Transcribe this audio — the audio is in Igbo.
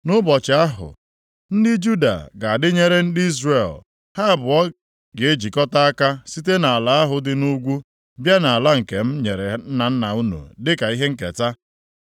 Nʼụbọchị ahụ ndị Juda ga-adịnyere ndị Izrel, ha abụọ ga-ejikọta aka site nʼala ahụ dị nʼugwu bịa nʼala nke m nyere nna nna unu dịka ihe nketa.”